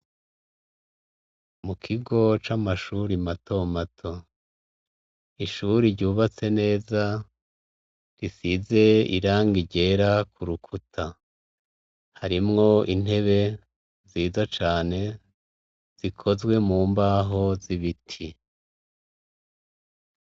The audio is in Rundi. Mu kigo c'amashuri mato mato. Ni ishuri ryubatse neza risize irangi ryera ku rukuta. Harimwo intebe nziza cane zikozwe mu mbaho z'ibiti.